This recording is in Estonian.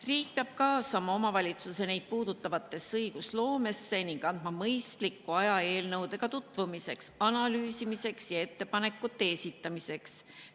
Riik peab kaasama omavalitsusi neid puudutavasse õigusloomesse ning andma mõistliku aja eelnõudega tutvumiseks, analüüsimiseks ja ettepanekute esitamiseks.